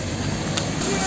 Burda bu tərəfdə qaldır.